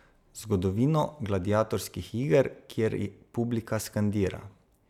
Zgodovino gladiatorskih iger, kjer publika skandira.